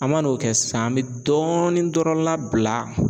An ma n'o kɛ sisan, an be dɔɔni dɔrɔn labila